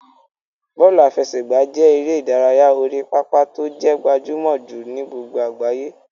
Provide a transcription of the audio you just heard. Bọ́ọ̀lù àfẹsẹ̀gbá jẹ́ eré ìdárayá orí pápá tó jẹ́ gbajúmọ̀ jùlọ ní àgbáyé.